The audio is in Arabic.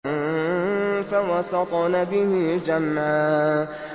فَوَسَطْنَ بِهِ جَمْعًا